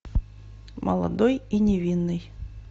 молодой и невинный